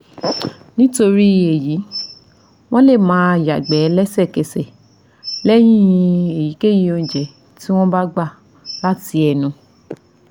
Nitori eyi wọn le maa yagbe lẹsẹkẹsẹ lẹhin eyikeyi ounje ti won gba lati ẹnu